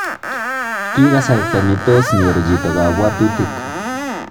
Ki kasarta nitoos nyor chito kabwatutik